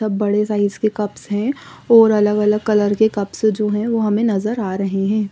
सब बड़े साइज़ के कप्स हैं और अलग अलग कलर के कप्स हे जो हमे नजर आ रहे हैं ।